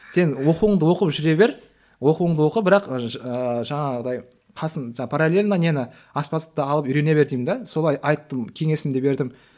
сен оқуыңды оқып жүре бер оқуыңды оқы бірақ ыыы жаңағындай паралельно нені аспаздықты алып үйрене бер деймін де солай айттым кеңесімді бердім